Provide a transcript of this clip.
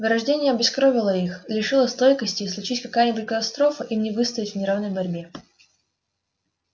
вырождение обескровило их лишило стойкости и случись какая-нибудь катастрофа им не выстоять в неравной борьбе